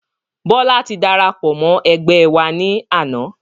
Bọlá tí darapọ̀ mọ́ ẹgbẹ́ wá ní àná